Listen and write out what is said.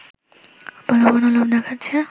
প্রলোভন ও লোভ দেখাচ্ছে